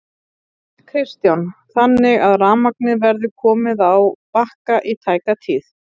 Kristján: Þannig að rafmagnið verður komið á Bakka í tæka tíð?